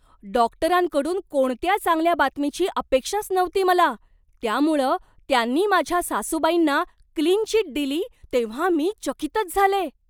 डॉक्टरांकडून कोणत्या चांगल्या बातमीची अपेक्षाच नव्हती मला, त्यामुळं त्यांनी माझ्या सासूबाईंना क्लीन चिट दिली तेव्हा मी चकितच झाले.